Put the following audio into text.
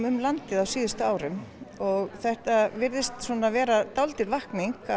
um landið á síðustu árum þetta virðist vera dálítil vakning